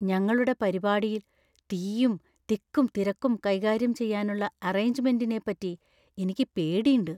ഞങ്ങളുടെ പരിപാടിയിൽ തീയും, തിക്കും തിരക്കും കൈകാര്യം ചെയ്യാനുള്ള അറേഞ്ച്മെന്‍റിനെപ്പറ്റി എനിക്ക് പേടിണ്ട്.